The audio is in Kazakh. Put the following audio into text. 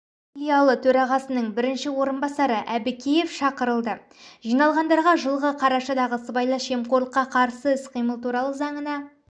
филиалы төрағасының бірінші орынбасары әбікеев шақырылды жиналғандарға жылғы қарашадағы сыбайлас жемқорлыққа қарсы іс-қимыл туралы заңына